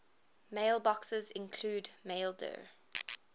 mailboxes include maildir